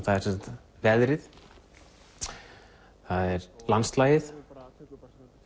það er veðrið það er landslagið